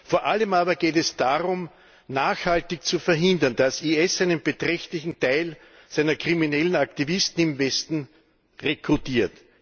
Vor allem aber geht es darum, nachhaltig zu verhindern, dass IS einen beträchtlichen Teil seiner kriminellen Aktivisten im Westen rekrutiert.